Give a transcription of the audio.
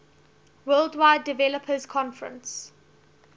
worldwide developers conference